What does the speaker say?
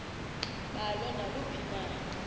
balo naluphi na